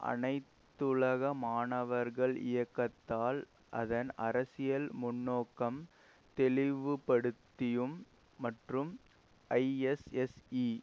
அனைத்துலக மாணவர்கள் இயக்கத்தால் அதன் அரசியல் முன்நோக்கம் தெளிவுபடுத்தியும் மற்றும் ஐஎஸ்எஸ்இ